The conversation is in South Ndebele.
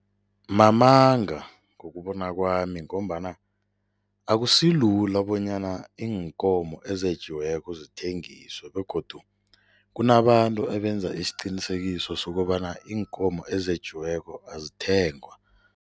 Mamanga, ngokubona kwami ngombana akusilula bonyana iinkomo ezetjiweko zithengiswe begodu kunabantu ebenza isiqinisekiso sokobana iinkomo ezetjiweko azithengwa.